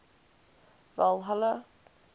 valhalla